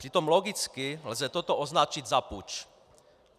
Přitom logicky lze toto označit za puč.